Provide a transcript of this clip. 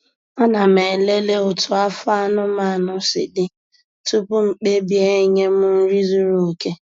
Ana m elele otú afọ anụmanụ si dị tupu m kpebie enye m nri zuru oke.